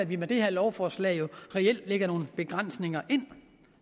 vi med det her lovforslag jo reelt lægger nogle begrænsninger ind